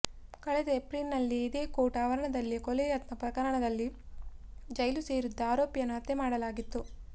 ಕಳೆದ ಏಪ್ರಿಲ್ ನಲ್ಲಿ ಇದೇ ಕೋರ್ಟ್ ಆವರಣದಲ್ಲೇ ಕೊಲೆ ಯತ್ನ ಪ್ರಕರಣದಲ್ಲಿ ಜೈಲು ಸೇರಿದ್ದ ಆರೋಪಿಯನ್ನು ಹತ್ಯೆ ಮಾಡಲಾಗಿತ್ತು